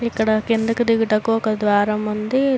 ఇక్కడ కిందకు దిగుటకు ఒక ద్వారం ఉంది.